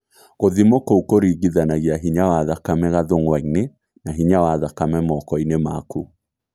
Gũthimwo kũu kũringithanagia hinya wa thakame gathũngwa-inĩ na hinya wa thakame moko-inĩ maku